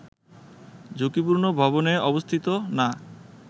ঝুঁকিপূর্ণ ভবনে অবস্থিত না